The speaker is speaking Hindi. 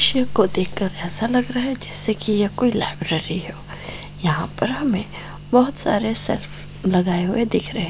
चित्र को देखकर ऐसा लग रह है जैसे की ये कोई लाइब्रेरी हो यहां पर हमे बोहत सारे सेल्फ लागए हुए दिख रहे है।